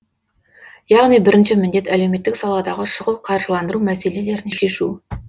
яғни бірінші міндет әлеуметтік саладағы шұғыл қаржыландыру мәселелерін шешу